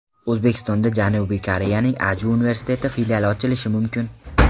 O‘zbekistonda Janubiy Koreyaning Aju universiteti filiali ochilishi mumkin.